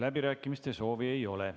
Läbirääkimiste soovi ei ole.